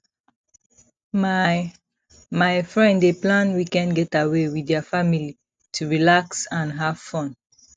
my my friend dey plan weekend getaway with their family to relax and have fun